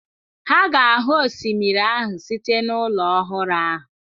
Ha ga-ahụ osimiri ahụ site n'ụlọ ọhụrụ ahụ.